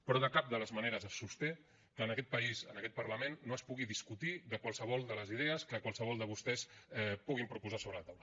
però de cap de les maneres es sosté que en aquest país en aquest parlament no es pugui discutir de qualsevol de les idees que qualsevol de vostès puguin proposar sobre la taula